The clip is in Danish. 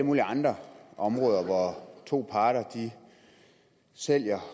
mulige andre områder hvor to parter sælger